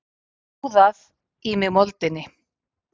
Úðað í mig moldinni.